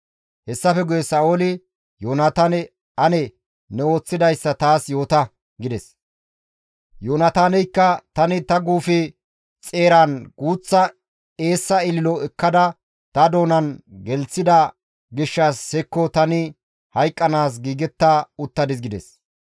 Hessafe guye Sa7ooli Yoonataane, «Ane ne ooththidayssa taas yoota» gides; Yoonataaneykka, «Tani ta guufe xeeran guuththa eessa ililo ekkada ta doonan gelththida gishshas hekko tani hayqqanaas giigetta uttadis» gides.